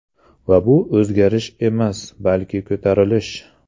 Va bu o‘zgarish emas, balki ko‘tarilish.